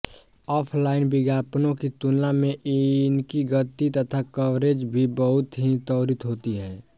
offline विज्ञापनों की तुलना में इनकी गति तथा कवरेज भी बहुत ही त्वरित होती है